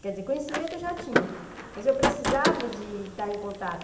Quer dizer, conhecimento eu já tinha, mas eu precisava de estar em contato.